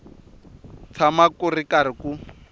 tshama ku ri karhi ku